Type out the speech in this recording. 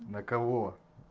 на кого